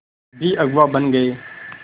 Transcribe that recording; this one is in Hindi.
भी अगुवा बन गए